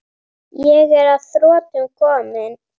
Ég er að þrotum kominn.